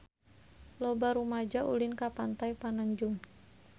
Loba rumaja ulin ka Pantai Pananjung